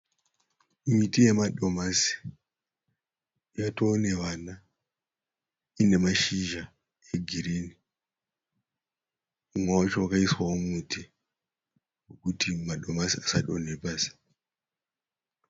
Miti yemadomasi, yatoonevana, ine mashizha egirinhi. Mumwe wacho wakaiswawo muti, kuti madomasi asadonha pasi.